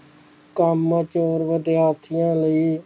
ਕੰਮਚੋਰ ਵਿਦਿਆਰਥੀਆਂ ਲਈ